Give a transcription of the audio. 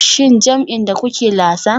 Shin jam'in da kuke lasa?